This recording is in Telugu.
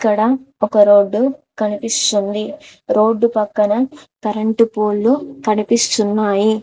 ఇక్కడ ఒక రోడ్డు కనిపిస్తుంది రోడ్డు పక్కన కరెంటు పోల్లు కనిపిస్తున్నాయి.